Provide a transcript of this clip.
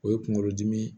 O ye kunkolodimi ye